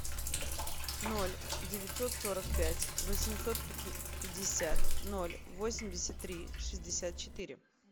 ноль девятьсот сорок пять восемьсот пятьдесят ноль восемьдесят три шестьдесят четыре